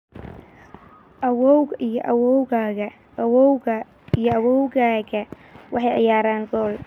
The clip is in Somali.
Awowgaa iyo awoowgaa waxay ciyaarayaan gool